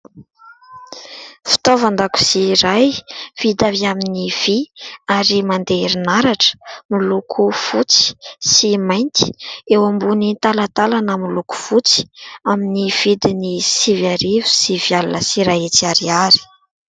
Fitaovan-dakozia iray vita avy amin'ny vy ary mandeha herinaratra, miloko fotsy sy mainty eo ambony talantalana miloko fotsy, amin'ny vidiny sivy arivo sy sivy alina sy iray hetsy ariary.